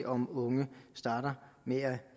om unge starter med at